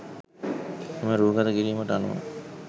එම රූගත කිරීමට අනුව